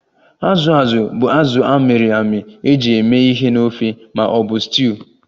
Azụ azụ bụ azụ a mịrị amị eji eme ihe na ofe ma ọ bụ stuuyu